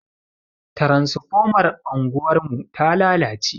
Transfomar anguwarmu ta lalace.